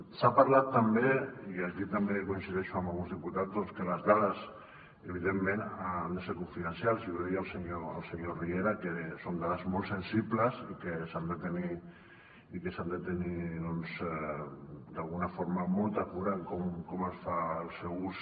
s’ha parlat també i aquí també coincideixo amb alguns diputats doncs que les dades evidentment han de ser confidencials i ho deia el senyor riera que són dades molt sensibles i que s’han de tenir doncs d’alguna forma molta cura en com es fa el seu ús